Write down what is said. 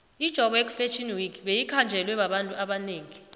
ijoburg fashion week beyikhanjelwe babantu abanengi